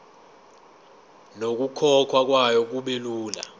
nokukhokhwa kwayo kubelula